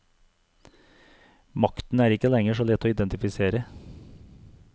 Makten er ikke lenger så lett å identifisere.